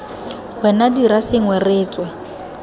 wena dira sengwe re tswe